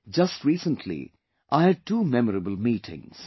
Just recently I had two memorable meetings